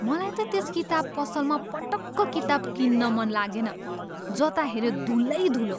मलाई त त्यस किताब पसलमा पटक्क किताब किन्न मन लागेन। जता हेऱ्यो धुलै धुलो!